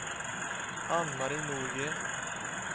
Anne-Marie Norgren